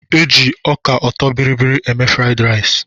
Eji ọka ọtọbịrịbịrị eme fraiịd rais.